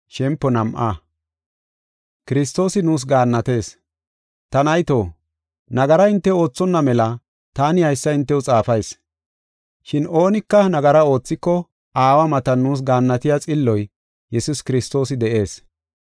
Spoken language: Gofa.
Ta nayto, nagara hinte oothonna mela taani haysa hintew xaafayis. Shin oonika nagara oothiko Aawa matan nuus gaannatiya Xilloy, Yesuus Kiristoosi, de7ees.